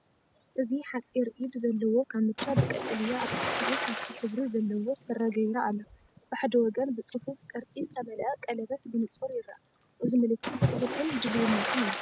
እዚ ሓጺር ኢድ ዘለዎ ካምቻ ብቀጠልያ ፡ ኣብ ትሕቲኡ ካኪ ሕብሪ ዘለዎ ስረ ገይራ ኣላ ። ብሓደ ወገን ብጽፉፍ ቅርጺ ዝተመልአ ቀሌበት ብንጹር ይርአ። እዚ ምልክት ጽፉፍን ድልውነትን እዩ።